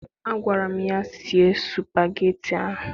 Agwara m ya, sie supageti ahụ!